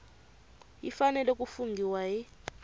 yi fanele ku funghiwa hi